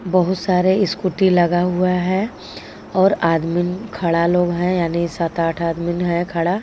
बोहोत सारे इस्कूटी लगा हुआ है और आदमिन खड़ा लोग है यानी सात आठ आदमिन है खड़ा.